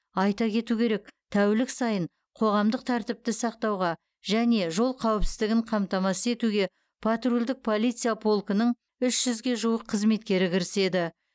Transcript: айта кету керек тәулік сайын қоғамдық тәртіпті сақтауға және жол қауіпсіздігін қамтамасыз етуге патрульдік полиция полкінің үш жүзге жуық қызметкері кіріседі